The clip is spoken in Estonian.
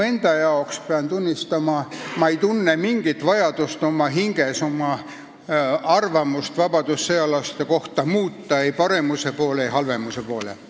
Ma pean tunnistama, ma ei tunne oma hinges mingit vajadust oma arvamust vabadussõjalaste kohta muuta – ei paremuse poole ega halvemuse poole.